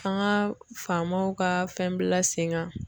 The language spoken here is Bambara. An ga famaw ka fɛn bila sen gan